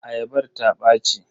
Ayabar ta ɓaci.